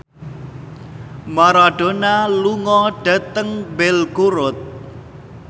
Maradona lunga dhateng Belgorod